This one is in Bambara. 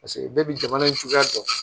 Paseke bɛɛ bi jamana in cogoya dɔn